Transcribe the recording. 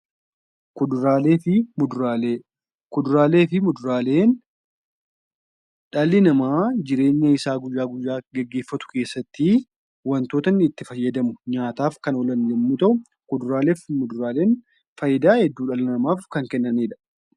Kuduraalee fi Muduraalee: Kuduraalee fi muduraaleen dhalli namaa jireenya isaa guyyaa guyyaa geggeeffatu keessatti wantoota inni itti fayyadamu, nyaataaf kan oolan yommuu ta'u, Kuduraalee fi muduraaleen faayidaa hedduu dhala namaaf kan kennanii dha.